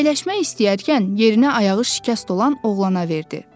Əyləşmək istəyərkən yerinə ayağı şikəst olan oğlana verdi.